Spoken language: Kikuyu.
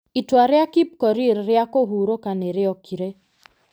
Itua rĩa Kipkorir rĩa kũhurũka nĩ rĩokire.